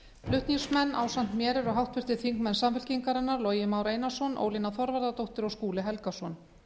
flutningsmenn ásamt mér eru háttvirtir þingmenn samfylkingarinnar logi már einarsson ólína þorvarðardóttir og skúli helgason